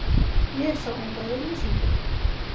Ég sá enga auglýsingu.